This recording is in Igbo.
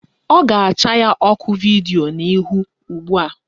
Ọ ga-acha ya ọkụ vidio n'ihu ugbua